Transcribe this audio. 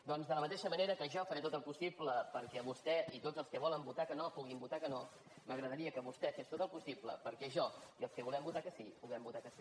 doncs de la mateixa manera que jo faré tot el possible perquè vostè i tots els que volen votar que no puguin votar que no m’agradaria que vostè fes tot el possible perquè jo i els que volem votar que sí puguem votar que sí